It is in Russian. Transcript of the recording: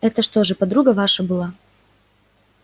это что же подруга ваша была